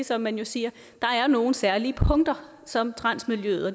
som man jo siger der er nogle særlige punkter som transmiljøet og